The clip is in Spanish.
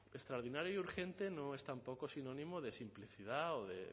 extraordinario y urgente no es tampoco sinónimo de simplicidad o de